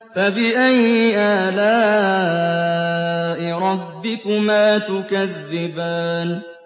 فَبِأَيِّ آلَاءِ رَبِّكُمَا تُكَذِّبَانِ